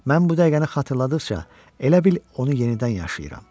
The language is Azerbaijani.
Mən bu dəqiqəni xatırladıqca elə bil onu yenidən yaşayıram.